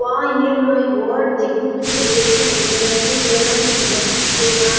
वाह oh my god देखने में तो ये इतना बेस्ट लग रहा हैकी मत पूछिए यहाँ --